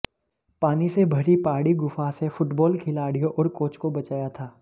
पानी से भरी पहाड़ी गुफा से फुटबाल खिलाड़ियों और कोच को बचाया था